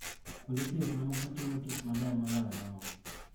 Kwonde thieth moko timo tich maber moloyo mamoko.